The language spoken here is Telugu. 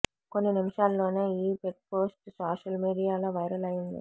కొన్ని నిమిషాల్లోనే ఈ ఫెక్ పోస్ట్ సోషల్ మీడియాలో వైరల్ అయింది